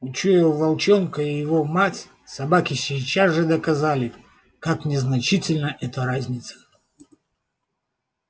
учуяв волчонка и его мать собаки сейчас же доказали как незначительна эта разница